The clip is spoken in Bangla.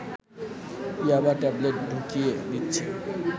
'ইয়াবা' ট্যাবলেট ঢুকিয়ে দিচ্ছে